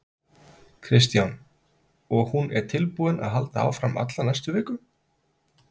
Kristján: Og hún er tilbúin að halda áfram alla næstu viku?